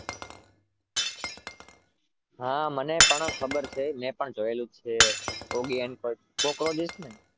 હા મને પણ ખબર છે મેં પણ જોયેલું છે oggy and cockroach ને